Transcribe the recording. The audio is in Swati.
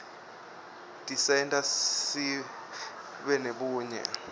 tisenta sibe nebunye